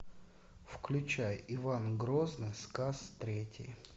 включай иван грозный сказ третий